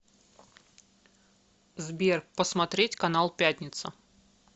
сбер посмотреть канал пятница